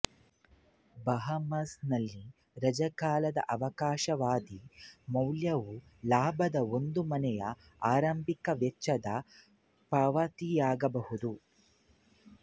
Bahamas ನಲ್ಲಿ ರಜಾಕಾಲದ ಅವಕಾಶವಾದಿ ಮೌಲ್ಯವುಲಾಭದ ಒಂದು ಮನೆಯ ಆರಂಭಿಕ ವೆಚ್ಚದ ಪಾವತಿಯಾಗಬಹುದು